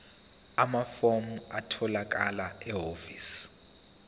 amafomu atholakala ehhovisi